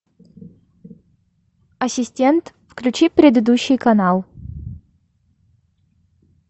ассистент включи предыдущий канал